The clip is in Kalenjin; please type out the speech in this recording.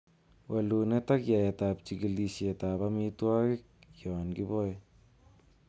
Wolunet ak yaetab chigilisietab amitwogik yon kiboe.